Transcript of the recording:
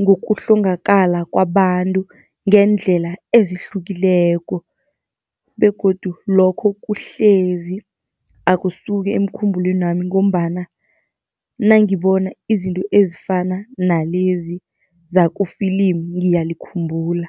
ngokuhlongakala kwabantu ngeendlela ezihlukileko begodu lokho kuhlezi akusuki emkhumbulweni wami. Ngombana nangibona izinto ezifana nalezi zaku-film ngiyalikhumbula.